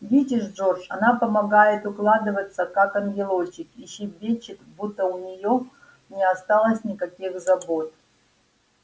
видишь джордж она помогает укладываться как ангелочек и щебечет будто у неё не осталось никаких забот